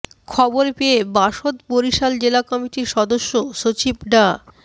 খবর পেয়ে বাসদ বরিশাল জেলা কমিটির সদস্য সচিব ডা